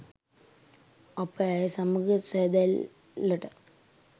අප ඇය සමඟ සඳැල්ලට